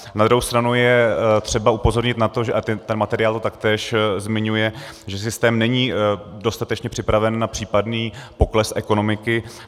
Na druhou stranu je třeba upozornit na to, a ten materiál to taktéž zmiňuje, že systém není dostatečně připraven na případný pokles ekonomiky.